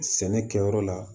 Sɛnɛ kɛyɔrɔ la